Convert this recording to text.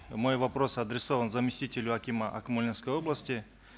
мой вопрос адресован заместителю акима акмолинской области